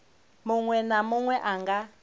munwe na munwe a nga